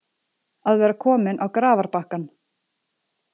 Að vera kominn á grafarbakkann